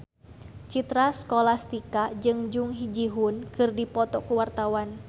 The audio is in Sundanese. Citra Scholastika jeung Jung Ji Hoon keur dipoto ku wartawan